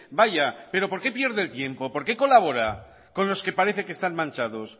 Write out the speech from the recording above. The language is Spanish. vaya pero por qué pierde el tiempo por qué colabora con los que parece que están manchados